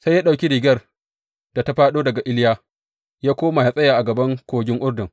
Sai ya ɗauki rigar da ta fāɗo daga Iliya ya koma ya tsaya a gaɓar Kogin Urdun.